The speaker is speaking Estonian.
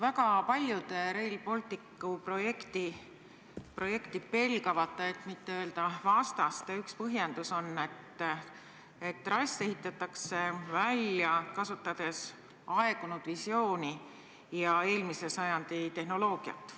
Väga paljude Rail Balticu projekti pelgavate, et mitte öelda selle vastaste üks põhjendus on, et trass ehitatakse välja, kasutades aegunud visiooni ja eelmise sajandi tehnoloogiat.